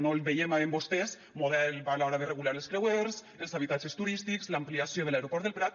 no el veiem en vostès model a l’hora de regular els creuers els habitatges turístics l’ampliació de l’aeroport del prat